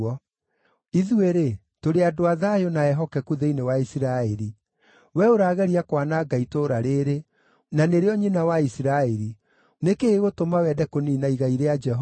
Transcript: Ithuĩ-rĩ, tũrĩ andũ a thayũ na ehokeku thĩinĩ wa Isiraeli. Wee ũrageria kwananga itũũra rĩĩrĩ, na nĩrĩo nyina wa Isiraeli. Nĩ kĩĩ gĩgũtũma wende kũniina igai rĩa Jehova?”